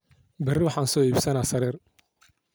Berii waxan soo iibsana sarir.